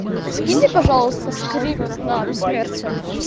скиньте пожалуйста скрипт на бессмертие